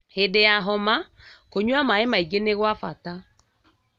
Hĩndĩ ya homa, kũnyua maĩ maingĩ nĩ gwa bata